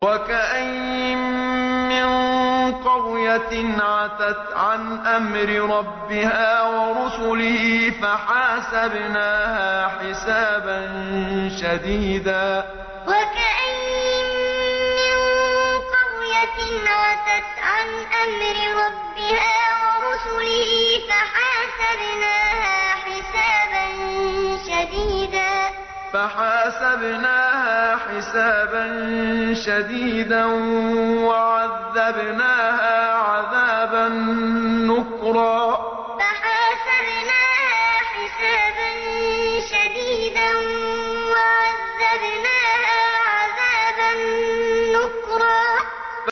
وَكَأَيِّن مِّن قَرْيَةٍ عَتَتْ عَنْ أَمْرِ رَبِّهَا وَرُسُلِهِ فَحَاسَبْنَاهَا حِسَابًا شَدِيدًا وَعَذَّبْنَاهَا عَذَابًا نُّكْرًا وَكَأَيِّن مِّن قَرْيَةٍ عَتَتْ عَنْ أَمْرِ رَبِّهَا وَرُسُلِهِ فَحَاسَبْنَاهَا حِسَابًا شَدِيدًا وَعَذَّبْنَاهَا عَذَابًا نُّكْرًا